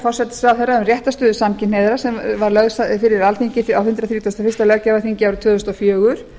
forsætisráðherra um réttarstöðu samkynhneigðra sem var lögð fyrir alþingi á hundrað þrítugasta og fyrsta löggjafarþingi árið tvö þúsund og fjögur